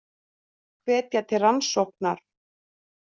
Hvetja til rannsóknar